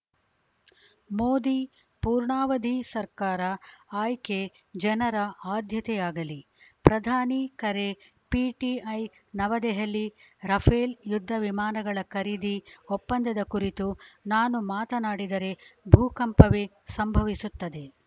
ಮೋದಿ ಪೂರ್ಣಾವಧಿ ಸರ್ಕಾರ ಆಯ್ಕೆ ಜನರ ಆದ್ಯತೆಯಾಗಲಿ ಪ್ರಧಾನಿ ಕರೆ ಪಿಟಿಐ ನವದೆಹಲಿ ರಫೇಲ್‌ ಯುದ್ಧ ವಿಮಾನಗಳ ಖರೀದಿ ಒಪ್ಪಂದದ ಕುರಿತು ನಾನು ಮಾತನಾಡಿದರೆ ಭೂಕಂಪವೇ ಸಂಭವಿಸುತ್ತದೆ